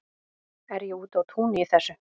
Er ég úti á túni í þessu?